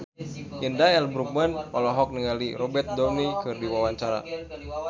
Indra L. Bruggman olohok ningali Robert Downey keur diwawancara